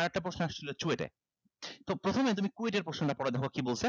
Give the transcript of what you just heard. আরেকটা আসছিলো হচ্ছে CHUET এ তো প্রথমে তুমি KUET এর প্রশ্নটা পড়ে দেখো কি বলছে